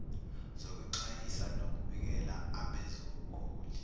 zokwexwayisa nokubikela abezobuhloli